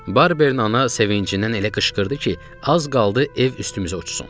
Barberin ana sevincindən elə qışqırdı ki, az qaldı ev üstümüzə uçsun.